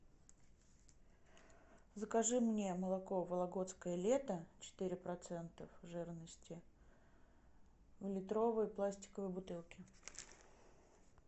закажи мне молоко вологодское лето четыре процента жирности в литровой пластиковой бутылке